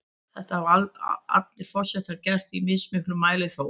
Þetta hafa allir forsetar gert, í mismiklum mæli þó.